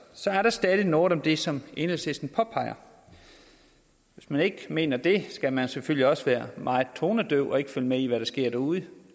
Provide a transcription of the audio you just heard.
er der stadig noget om det som enhedslisten påpeger hvis man ikke mener det skal man selvfølgelig også være meget tonedøv og ikke følge med i hvad der sker derude